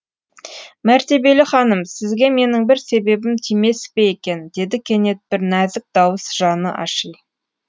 мәртебелі ханым сізге менің бір себебім тимес пе екен деді кенет бір нәзік дауыс жаны аши